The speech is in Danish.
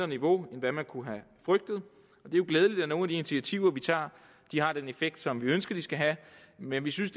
niveau end hvad man kunne have frygtet det er jo glædeligt at nogle af de initiativer vi tager har den effekt som vi ønsker de skal have men vi synes